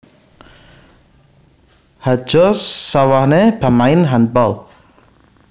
Hadja Sawaneh pamain handball